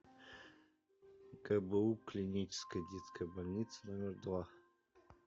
гбу клиническая детская больница номер два